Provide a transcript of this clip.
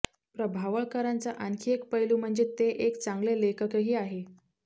प्रभावळकरांचा आणखी एक पैलू म्हणजे ते एक चांगले लेखकही आहेत